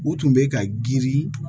U tun bɛ ka girin